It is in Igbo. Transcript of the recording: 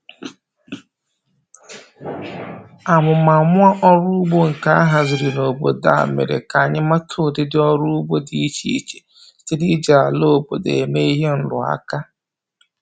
Amụmamụ ọrụ ugbo nke a haziri n'obodo a mere k'anyị mata ụdịdị ọrụ ugbo dị iche iche site n'iji ala obodo eme ihe nrụaka